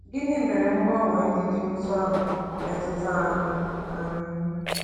Gịnị mere mgbanwe ndị dị otú ahụ ji metụta anyị? anyị?